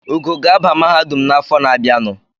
Ugo ga-aba mahadum n’afọ na-abịanụ